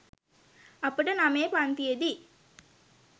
අපට නමයෙ පන්තියෙදි